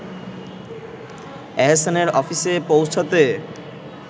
এহসানের অফিসে পৌঁছাতে